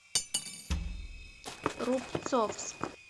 рубцовск